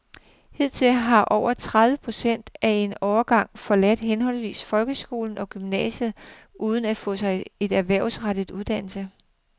Hidtil har over tredive procent af en årgang forladt henholdsvis folkeskolen og gymnasiet uden at få sig en erhvervsrettet uddannelse.